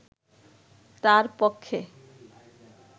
তার পক্ষে